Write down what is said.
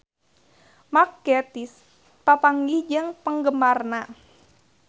Mark Gatiss papanggih jeung penggemarna